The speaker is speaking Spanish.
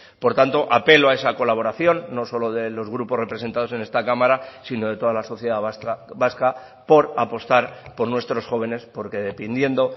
por tanto apelo a esa colaboración no solo de los grupos representados en esta cámara sino de toda la sociedad vasca por apostar por nuestros jóvenes porque dependiendo